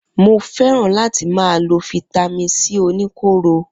Mo fẹràn lati ma lo fítámìn c oníkóro.